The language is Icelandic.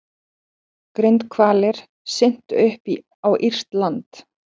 Grindhvalir syntu upp á írskt land